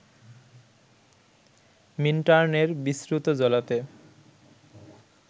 মিন্টার্ন-এর বিশ্রুত জলাতে